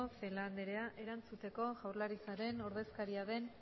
celaá anderea erantzuteko jaurlaritzaren ordezkaria den